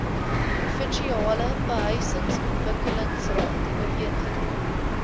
provinsiale behuisingsontwikkelingsraad ooreengekom